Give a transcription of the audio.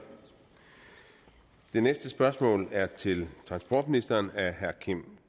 det næste spørgsmål er til transportministeren af herre kim